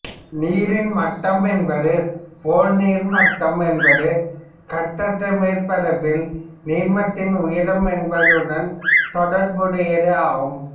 நீரின் மட்டம் என்பது போல் நீர்ம மட்டம் என்பது கட்டற்ற மேற்பரப்பில் நீர்மத்தின் உயரம் என்பதுடன் தொடர்புடையது ஆகும்